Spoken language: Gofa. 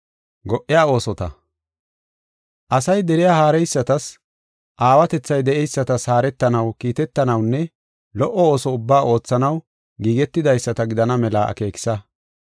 Asay deriya haareysatas, aawatethay de7eysatas haaretanaw, kiitetanawunne lo77o ooso ubbaa oothanaw giigetidaysata gidana mela akeekisa.